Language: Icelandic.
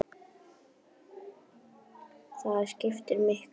Það skiptir miklu máli.